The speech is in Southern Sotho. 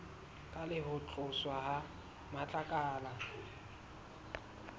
le ho tloswa ha matlakala